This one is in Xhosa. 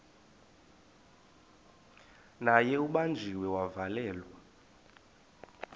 naye ubanjiwe wavalelwa